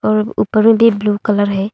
और ऊपर में भी ब्ल्यू कलर है।